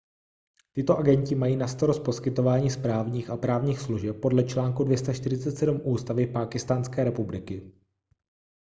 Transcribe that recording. tito agenti mají na starost poskytování správních a právních služeb podle článku 247 ústavy pákistánské republiky